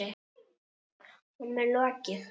Honum er lokið!